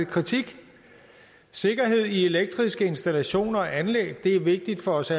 kritik sikkerhed i elektriske installationer og anlæg er vigtigt for os